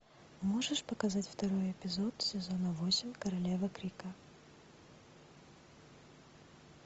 можешь показать второй эпизод сезона восемь королева крика